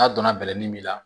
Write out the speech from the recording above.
N'a donna bɛlɛnin min la